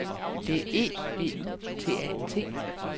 D E B U T A N T